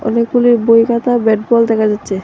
অনেকগুলি বই খাতা ব্যাট বল দেখা যাচ্ছে।